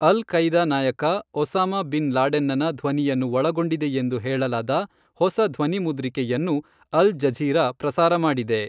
ಅಲ್ ಕೈದಾ ನಾಯಕ, Osama bin ಲಾಡೆನ್ನನ ಧ್ವನಿಯನ್ನು ಒಳಗೊಂಡಿದೆಯೆಂದು ಹೇಳಲಾದ ಹೊಸ ಧ್ವನಿಮುದ್ರಿಕೆಯನ್ನು, ಅಲ್ ಜಝೀರಾ ಪ್ರಸಾರ ಮಾಡಿದೆ.